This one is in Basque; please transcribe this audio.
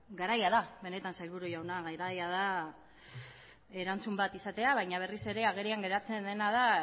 garaia da benetan sailburu jauna garaia da erantzun bat izatea baina berriz ere agerian geratzen dena da